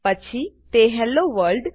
પછી તે hello world